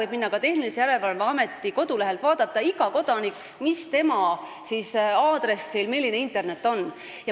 Iga kodanik võib Tehnilise Järelevalve Ameti kodulehelt vaadata, millise kiirusega internetiühendus tema aadressil on.